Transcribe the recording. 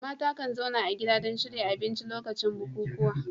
Mata kan zauna a gida don shirya abinci a lokacin bukukuwa.